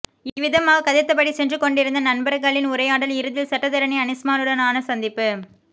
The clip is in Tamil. இவ்விதமாகக் கதைத்தபடி சென்று கொண்டிருந்த நண்பர்களின் உரையாடல் இறுதியில் சட்டத்தரணி அனிஸ்மானுடனான சந்திப்பு